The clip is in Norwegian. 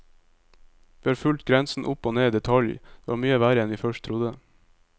Vi har fulgt grensen opp og ned i detalj, det var mye verre enn vi først trodde.